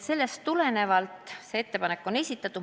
Sellest tulenevalt saigi see ettepanek esitatud.